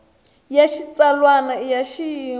ya xitsalwana i ya xiyimo